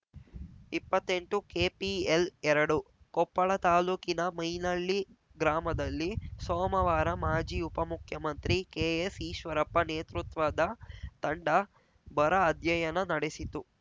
ಇಪ್ಪತ್ತೆಂಟುಕೆಪಿಎಲ್‌ಎರಡು ಕೊಪ್ಪಳ ತಾಲೂಕಿನ ಮೈನಳ್ಳಿ ಗ್ರಾಮದಲ್ಲಿ ಸೋಮವಾರ ಮಾಜಿ ಉಪಮುಖ್ಯಮಂತ್ರಿ ಕೆಎಸ್‌ ಈಶ್ವರಪ್ಪ ನೇತೃತ್ವದ ತಂಡ ಬರ ಅಧ್ಯಯನ ನಡೆಸಿತು